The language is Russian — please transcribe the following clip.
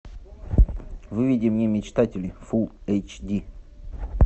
выведи мне мечтатели фулл эйч ди